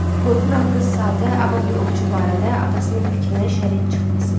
Qorxuram qız sadə, avam bir ovçu barədə atasının fikrinə şərik çıxmasın.